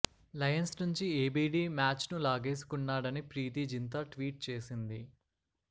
Lions నుంచి ABD మ్యాచ్ను లాగేసుకున్నాడని ప్రీతి జింతా ట్వీట్ చేసింది